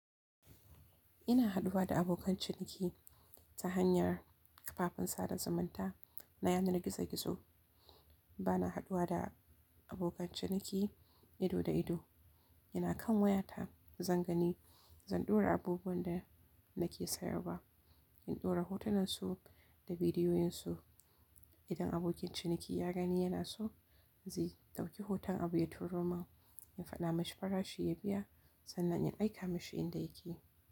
Ina haɗuwa da abokan ciniki ta hanyar kafafen sada zumunta na yanar gizo gizo. Bana haɗuwa da abokan ciniki ido da ido. Ina kan wayata zan gani, zan ɗora abubuwan da nake sayarwa. In ɗora hotonansu da bidiyoyinsu. Idan abokin ciniki ya gani yana so, zai ɗauki hoton abu ya turo min. In faɗa mashi farashi ya biya sannan in aika mashi inda yake.